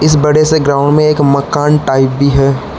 बड़े से ग्राउंड में एक मकान टाइप भी है।